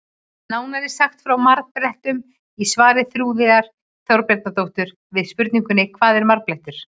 Nánar er sagt frá marblettum í svari Þuríðar Þorbjarnardóttur við spurningunni Hvað er marblettur?